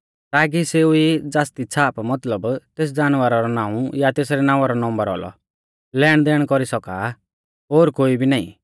ताकी सेऊ ई ज़ासदी छ़ाप मतलब तेस जानवरा रौ नाऊं या तेसरै नावां रौ नम्बर औलौ लेनदेण कौरी सौका ओर कोई भी नाईं